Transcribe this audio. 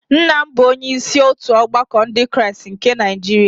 nna m bụ onye isi otu ọgbakọ Ndị Kraịst nke Niajiria